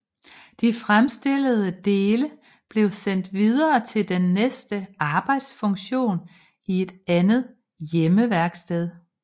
De fremstillede dele blev sendt videre til den næste arbejdsfunktion i et andet hjemmeværksted